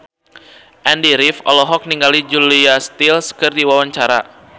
Andy rif olohok ningali Julia Stiles keur diwawancara